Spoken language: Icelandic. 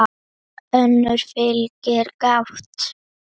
önnur fylgir gáta